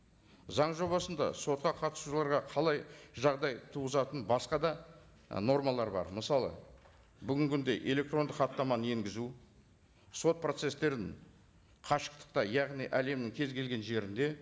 заң жобасында сотқа қатысушыларға қалай жағдай туғызатын басқа да нормалар бар мысалы бүгінгі күнде электрондық хаттаманы енгізу сот процесстерін қашықтықта яғни әлемнің кез келген жерінде